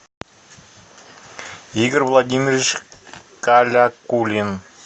игорь владимирович калякулин